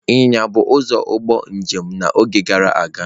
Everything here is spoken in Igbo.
Ịnyịnya bụ ụzọ ụgbọ njem n'oge gara aga.